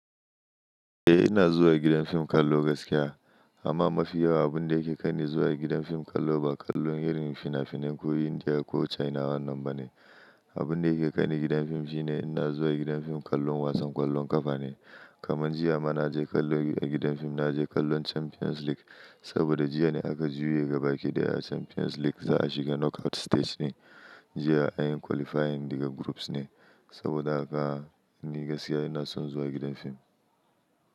Eh ina zuwa gidan fim kallo gaskiya amma mafi yawa abun da ke kani zuwa gidan fim kallo ba kallon irin finafinan ko Indiya ko China wannan ba ne. Abun da yake kaini gidan fim shine in na zuwa gidan fim kallon wasan kwallon kafa ne. Kaman jiya mana je kallo gidan fim na je kallon Champions League saboda jiya ne aka juya gabaki ɗaya a Champions League za a shiga knockout stage ne. Jiya anyi qualifying daga groups ne saboda haka ni gaskiya ina son zuwa gidan fim.